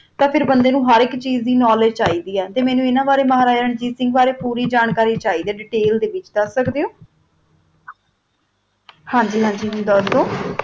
ਤਾ ਫਿਰ ਬੰਦਾ ਨੂ ਹਰ ਅੱਕ ਚੀਜ਼ ਦੀ ਕ੍ਨੋਵ੍ਲੇਦ੍ਗੇ ਚੀ ਦੀ ਆ ਮੇਨੋ ਮਹਾਰਾਜਾ ਰਣਜੀਤ ਸਿੰਘ ਬਾਰਾ ਪੋਰੀ ਜਾਨ ਕਰੀ ਚੀ ਦੀ ਤੁਸੀਂ ਦਾ ਸਕਦਾ ਓਹੋ ਦੇਤੈਲ ਦਾ ਵਿਤਚ ਹਨ ਗੀ ਹਨ ਗੀ ਦਾਸੂ